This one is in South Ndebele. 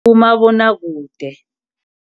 Umabonakude.